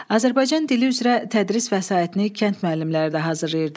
Azərbaycan dili üzrə tədris vəsaitini kənd müəllimləri də hazırlayırdı.